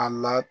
A la